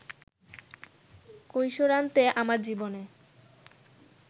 কৈশোরান্তে আমার জীবনে